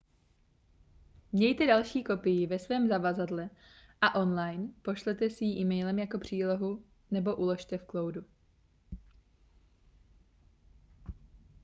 mějte další kopii ve svém zavazadle a online pošlete si ji emailem jako přílohu nebo uložte v cloudu